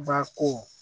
Ba ko